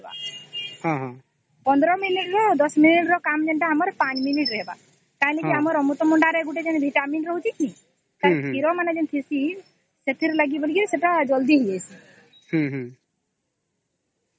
୧୫ minute ନୁହେ ୧୦ minute ର କାମ ୫ ମିନିଟ ରେ ହବ କାଇଲେ କେ ଯେ ଆମର ଅମୃତ ଭଣ୍ଡା ରେ ଯୋଉ vitamin ରହୁଛେ ତାର କ୍ଷୀର ମାନେ ଯୋଉ ଥିସ ସେଥିର ଲାଗି ସେଟା ଜଲ୍ଦି ହେଇ ଯେଇସେ